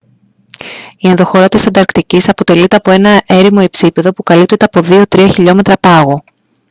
η ενδοχώρα της ανταρκτικής αποτελείται από ένα έρημο υψίπεδο που καλύπτεται από 2-3 χιλιόμετρα πάγου